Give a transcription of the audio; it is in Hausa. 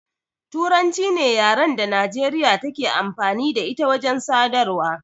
Turanci ce yaran da Nijeriya take amfani da ita wajen sadarwa